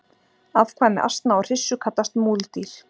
afkvæmi asna og hryssu kallast múldýr